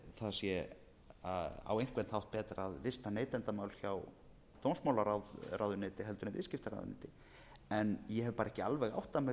það sé á einhvern hátt betra að vista neytendamál hjá dómsmálaráðuneyti en viðskiptaráðuneyti en ég hef bara ekki alveg áttað mig á